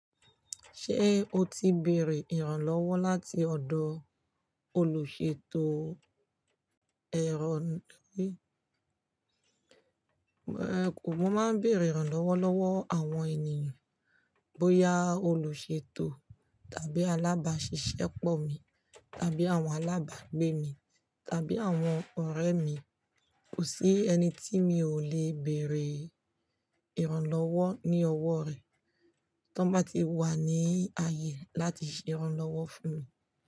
Ṣé o ti bèrè ìrànlọ́wọ́ láti ọ̀dọ̀ olùṣètò? Ẹ̀rọ. Mo máa ń bèrè ìrànlọ́wọ́ lọ́wọ́ àwọn ènìyàn, bóyá olùṣètò tàbí alábàáṣiṣẹ́pọ̀ mi tàbí àwọn alábàgbé mi tàbí àwọn ọ̀rẹ́ mi. Kò sí ẹni tí mi ò le béèrè ìrànlọ́wọ́ ní ọwọ́ rẹ̀ tan bá ti wà ní ààyè láti ṣe ìrànlọ́wọ́ fún mi.